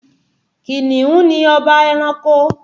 Kìnìún ni ọba ẹranko